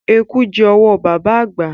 Eku jẹ́ owó baba àgbà.